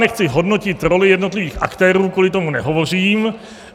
Nechci hodnotit roli jednotlivých aktérů, kvůli tomu nehovořím.